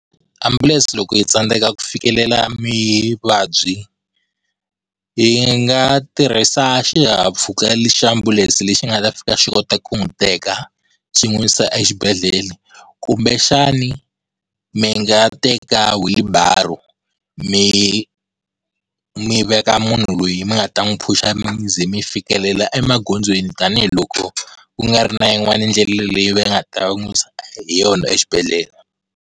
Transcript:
Ambulense loko yi tsandzeka ku fikelela muvabyi yi nga tirhisa xihahampfhuka xa ambulense lexi nga ta fika xi kota ku n'wi teka xi n'wi yisa exibedhlele, kumbexani mi nga teka wheelbarrow mi mi veka munhu loyi mi nga ta n'wi phusha mi ze fikelela emagondzweni, tanihiloko ku nga ri na yin'wani ndlela leyi va nga ta n'wi yisa hi yona exibedhlele.